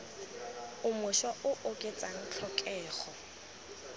o mošwa o oketsa tlhokego